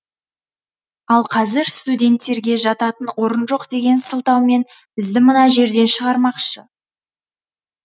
ал қазір студенттерге жататын орын жоқ деген сылтаумен бізді мына жерден шығармақшы